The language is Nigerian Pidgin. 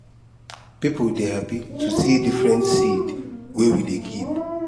people dey happy to see different seed wey we dey keep